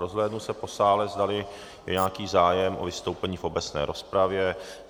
Rozhlédnu se po sále, zdali je nějaký zájem o vystoupení v obecné rozpravě.